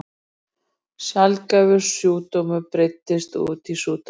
Svo saup ég varfærnislega á.